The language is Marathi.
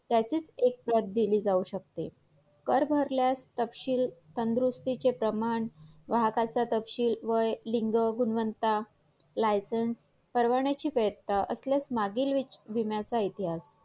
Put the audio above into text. अ व्यवसायाचा मालक असतो म्हणजे